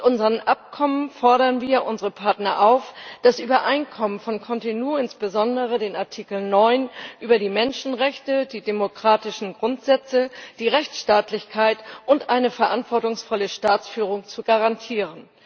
Mit unseren Abkommen fordern wir unsere Partner auf, das Übereinkommen von Cotonou, insbesondere den Artikel 9 über die Menschenrechte, die demokratischen Grundsätze, die Rechtsstaatlichkeit und eine verantwortungsvolle Staatsführung zu garantieren.